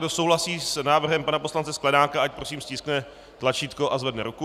Kdo souhlasí s návrhy pana poslance Sklenáka, ať prosím stiskne tlačítko a zvedne ruku.